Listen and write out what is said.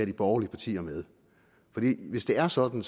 de borgerlige partier med hvis det er sådan